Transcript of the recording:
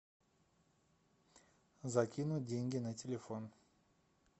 закинуть деньги на телефон